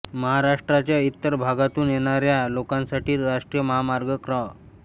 महाराष्ट्राच्या इतर भागातून येणारया लोकांसाठी राष्ट्रीय महामार्ग क्र